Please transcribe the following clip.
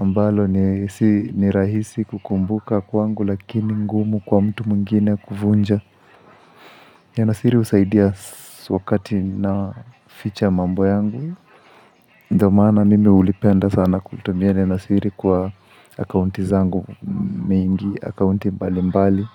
ambalo ni rahisi kukumbuka kwangu lakini ngumu kwa mtu mwingine kuvunja. Neno siri husaidia wakati naficha mambo yangu. Ndo maana mimi hulipenda sana kutumia neno siri kwa akaunti zangu mingi akaunti mbali mbali.